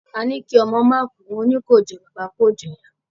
Àní kí ọmọ ó máa kú, òní kò jọ bàbà, kò jọ ìyá.